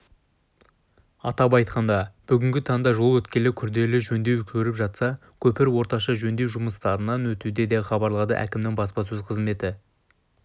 атап айтқанда бүгінгі таңда жол өткелі күрделі жөндеу көріп жатса көпір орташа жөндеу жұмыстарынан өтуде деп хабарлады әкімінің баспасөз қызметі